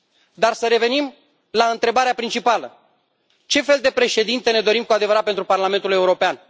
Dar să revenim la întrebarea principală ce fel de președinte ne dorim cu adevărat pentru Parlamentul European?